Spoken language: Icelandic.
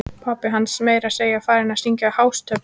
Pabbi hans var meira að segja farinn að syngja hástöfum!